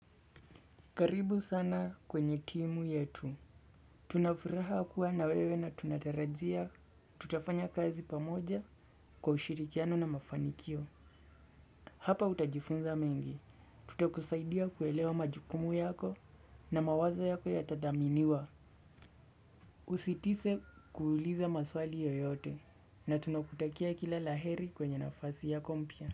Karibu sana kwenye timu yetu. Tunafuraha kuwa na wewe na tunatarajia. Tutafanya kazi pamoja kwa ushirikiano na mafanikio. Hapa utajifunza mengi. Tutakusaidia kuelewa majukumu yako na mawazo yako ya tadhaminiwa. Usitise kuhuliza maswali yoyote. Na tunakutakia kila laheri kwenye nafasi yako mpya.